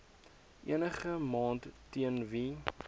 enigiemand teen wie